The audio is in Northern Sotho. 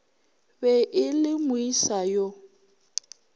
be e le moesa yo